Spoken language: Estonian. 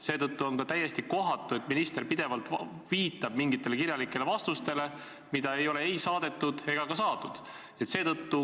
Seetõttu on täiesti kohatu, et minister viitab pidevalt mingitele kirjalikele vastustele, mida pole ei saadetud ega ka saadud.